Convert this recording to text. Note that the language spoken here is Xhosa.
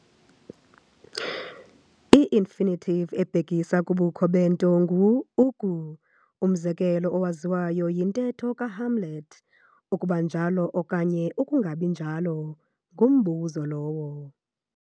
I-infinitive ebhekisa kubukho bento ngu-"uku". umzekelo owaziwayo yintetho kaHamlet- "ukuba njalo okanye ukungabinjalo, ngumbuzo lowo".